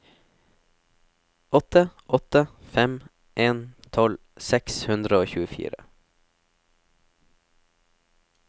åtte åtte fem en tolv seks hundre og tjuefire